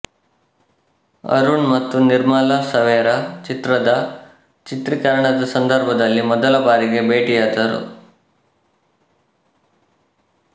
ಅರುಣ್ ಮತ್ತು ನಿರ್ಮಲಾ ಸವೇರಾ ಚಿತ್ರದ ಚಿತ್ರೀಕರಣದ ಸಂದರ್ಭದಲ್ಲಿ ಮೊದಲ ಬಾರಿಗೆ ಭೇಟಿಯಾದರು